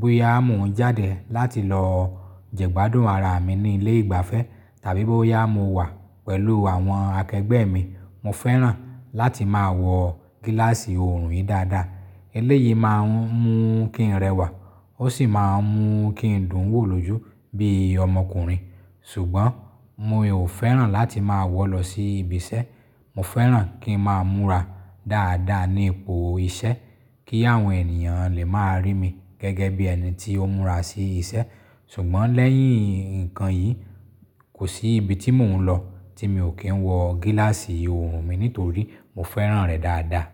bóyá mo ń jáde láti lọ jẹ́gbádùn ara mi ní ilé ìgbafẹ́ tàbí bóyá mo wà pẹ̀lú àwọn akẹgbẹ́ mi, mo fẹ́ràn láti máa wọ gíláàsì òòrùn yìí dáadáa. Eléyìí máa ń mú kí n rẹwà, ó sì máa ń mú kí n dùn wò lójú bíi ọmọkùnrin. Ṣùgbọ́n mi ò fẹ́ràn láti máa wọ̀ lọ sí ibi iṣẹ́. Mo fẹ́ràn kí n máa múra dáadáa ní ipò iṣẹ́ kí àwọn ènìyàn lè máa rí mi gẹ́gẹ́ bí ẹni tí ó ń múra sí iṣẹ́. Ṣùgbọ́n lẹ́yìn ǹkan yìí, kò sí ibi tí mò ń lọ tí mi ò kí ń wọ gíláàsì òòrùn mi nítorí mo fẹ́ràn rẹ̀ dáadáa.